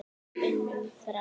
unum frá.